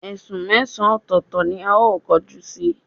Esún mesan otòòto ni ao koju si